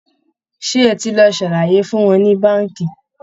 Ṣé ẹ ti lọ ṣàlàyé fún wọn ní báǹkì?